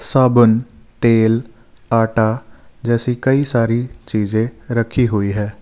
साबुन तेल आटा जैसे कई सारी चीजें रखी हुई है।